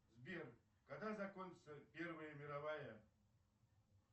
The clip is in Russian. сбер когда закончится первая мировая